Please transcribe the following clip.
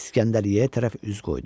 İskəndəriyyəyə tərəf üz qoydu.